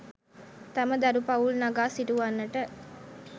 තම දරු පවුල් නගා සිටුවන්නට